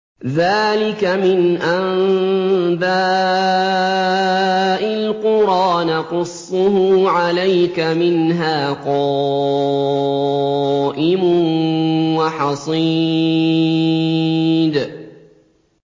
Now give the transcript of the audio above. ذَٰلِكَ مِنْ أَنبَاءِ الْقُرَىٰ نَقُصُّهُ عَلَيْكَ ۖ مِنْهَا قَائِمٌ وَحَصِيدٌ